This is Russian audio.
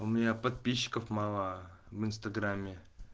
у меня подписчиков мало в инстаграме